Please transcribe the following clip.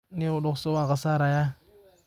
Nio dogso wankasareya.